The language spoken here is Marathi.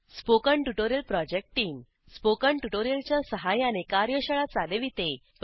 spoken tutorial project team spoken tutorial च्या सहाय्याने कार्यशाळा चालविते